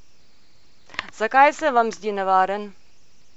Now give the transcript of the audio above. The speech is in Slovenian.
Zakaj se vam zdi nevaren?